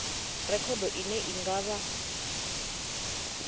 rekhodo ine i nga vha